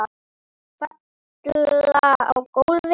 Falla á gólfið.